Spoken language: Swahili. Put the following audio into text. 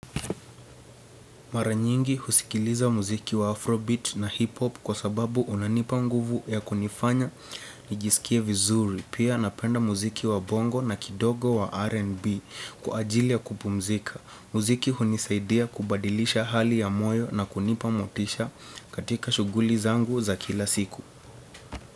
Maranyingi husikiliza muziki wa Afro Beat na Hip Hop kwa sababu unanipa nguvu ya kunifanya nijisikie vizuri. Pia napenda muziki wa bongo na kidogo wa R&B kuajilia kupumzika. Muziki hunisaidia kubadilisha hali ya moyo na kunipa motisha katika shuguli zangu za kila siku.